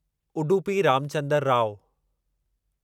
Udupi Ramchandar Rao